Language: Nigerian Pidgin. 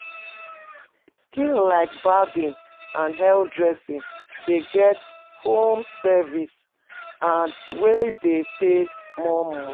Skills like barbing and hair dressing dey get home service wey de pay more